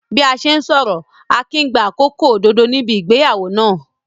Bí a ṣe ń sọ̀rọ̀, Akin ń gba àkókò òdodo níbi ìgbéyàwó náà.